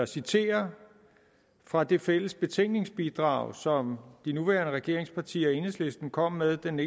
citere fra det fælles betænkningsbidrag som de nuværende regeringspartier og enhedslisten kom med den